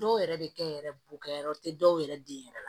Dɔw yɛrɛ bɛ kɛ yɛrɛ bo kɛ yɔrɔ te dɔw yɛrɛ den yɛrɛ la